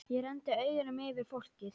Ég renndi augunum yfir fólkið.